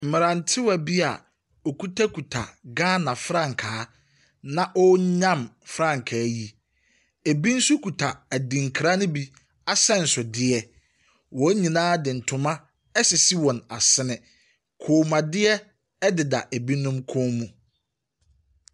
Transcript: Mmerantewa bi awɔkitakita Ghana frankaa na wɔrenyam frankaa. Ɛbi nso kita adinkra yi bi ahyɛnsodeɛ. Wɔn nyinaa de ntoma asisi wɔn asene. Kɔnmuadeɛ deda inom kɔn mu.